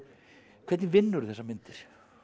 hvernig þessar myndir